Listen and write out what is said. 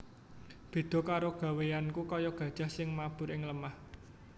Béda karo gawéyanku kaya gajah sing mabur ing lemah